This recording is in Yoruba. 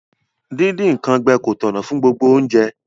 Díndín nkan gbẹ ko tọ̀nà fun gbogbo ounje